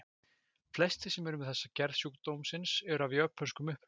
Flestir sem eru með þessa gerð sjúkdómsins eru af japönskum uppruna.